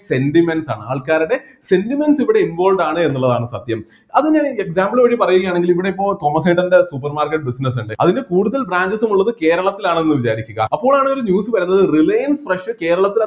sentiments ആണ് ആൾക്കാരുടെ sentiments ഇവിടെ involved ആണ് എന്നുള്ളതാണ് സത്യം അത് എങ്ങനെ example വഴി പറയുകയാണെങ്കില് ഇവിടെ ഇപ്പോ തോമസേട്ടൻ്റെ supermarket business ഇണ്ട് അതിന് കൂടുതൽ branches ഉം ഉള്ളത് കേരളത്തിലാണെന്ന് വിചാരിക്കുക അപ്പോഴാണ് ഒരു news വരുന്നത് റിലയൻസ് fresh കേരളത്തിൽ